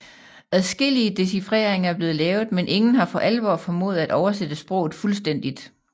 Adskillige decifreringer er blevet lavet men ingen har for alvor formået at oversætte sproget fuldstændigt